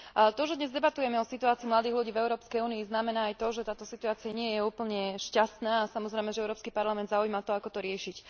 To, že dnes debatujeme o situácii mladých ľudí v Európskej únii znamená aj to, že táto situácia nie je úplne šťastná, a samozrejme, že Európsky parlament zaujíma to, ako to riešiť.